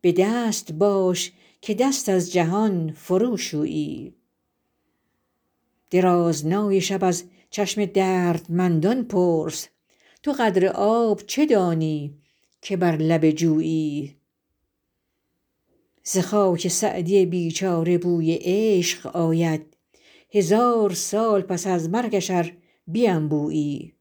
به دست باش که دست از جهان فروشویی درازنای شب از چشم دردمندان پرس تو قدر آب چه دانی که بر لب جویی ز خاک سعدی بیچاره بوی عشق آید هزار سال پس از مرگش ار بینبویی